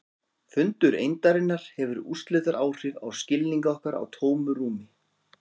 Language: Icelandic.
Fundur eindarinnar hefur úrslitaáhrif á skilning okkar á tómu rúmi.